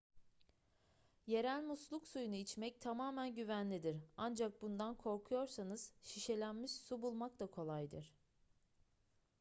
yerel musluk suyunu içmek tamamen güvenlidir ancak bundan korkuyorsanız şişelenmiş su bulmak da kolaydır